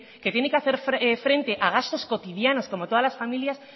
que tiene que hacer frente a gastos cotidianos como todas las familias